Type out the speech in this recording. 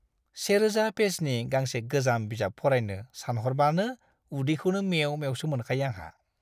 1000 पेजनि गांसे गोजाम बिजाब फरायनो सानह'रबानो उदैखौनो मेव-मेवसो मोनखायो आंहा।